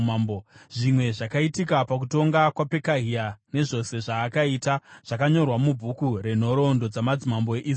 Zvimwe zvakaitika pakutonga kwaPekahia, nezvose zvaakaita zvakanyorwa mubhuku renhoroondo dzamadzimambo eIsraeri.